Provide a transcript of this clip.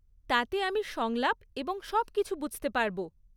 তাতে আমি সংলাপ এবং সবকিছু বুঝতে পারব।